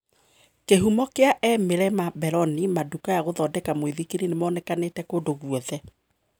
Kihũmo kia e, Milena Belloni Madukaya gũthondeka muithikiri nimonekanite kũndũ gûothe.